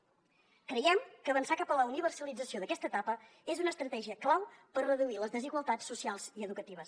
creiem que avançar cap a la universalització d’aquesta etapa és una estratègia clau per reduir les desigualtats socials i educatives